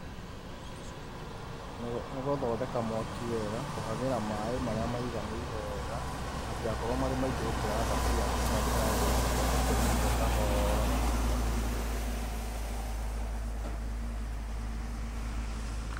Nĩ gũthondeka mwaki wega, kũhagĩra maĩ marĩa maiganĩire wega, matigakorwo marĩ maingĩ gũkĩra thaburia ngima ndĩkae gũitĩka ũcoke ũmĩruge kahora na ũmĩhe mwaki mũigananĩru.